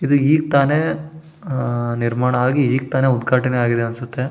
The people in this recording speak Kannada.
ಇದು ಈಗ ತಾನೇ ನಿರ್ಮಾಣ ಆಗಿ ಈಗ್ ತಾನೇ ಉದ್ಘಾಟನೆ ಆಗಿದೆ ಅನ್ಸುತ್ತೆ --